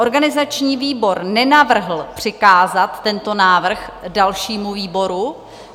Organizační výbor nenavrhl přikázat tento návrh dalšímu výboru.